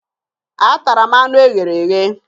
Atara m anụ e ghere eghe